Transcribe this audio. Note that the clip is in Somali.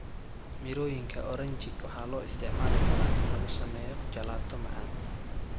Mirooyinka oranji waxaa loo isticmaali karaa in lagu sameeyo jalaato macaan.